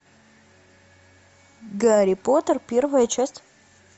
гарри поттер первая часть